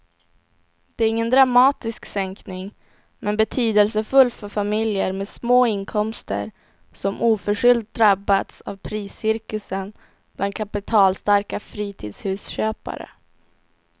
Det är ingen dramatisk sänkning men betydelsefull för familjer med små inkomster som oförskyllt drabbats av priscirkusen bland kapitalstarka fritidshusköpare.